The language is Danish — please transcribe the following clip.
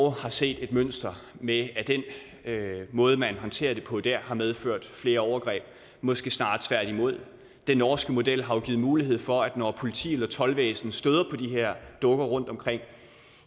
har set et mønster med at den måde man håndterer det på der har medført flere overgreb måske snarere tværtimod den norske model har jo givet mulighed for at når politi eller toldvæsen støder på de her dukker rundtomkring